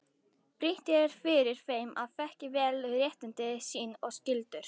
Brýnt er fyrir þeim að þekkja vel réttindi sín og skyldur.